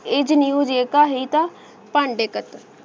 new ਜੈਕਾ ਹੇਤਾ Pandey cutter